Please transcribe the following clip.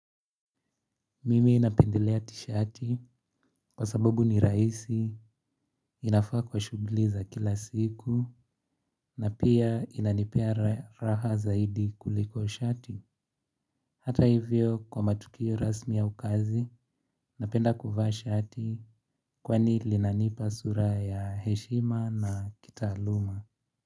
Mimi napendelea tishati kwa sababu ni rahisi, inafaa kwa shughuli za kila siku, na pia inanipea raha zaidi kuliko shati. Hata hivyo kwa matukio rasmi au kazi, napenda kuvaa shati kwani linanipa sura ya heshima na kitaaluma.